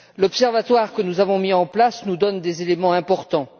L'observatoire que nous avons mis en place nous donne des éléments importants.